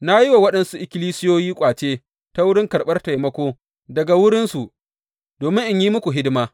Na yi wa waɗansu ikkilisiyoyi ƙwace ta wurin karɓar taimako daga wurinsu, domin in yi muku hidima.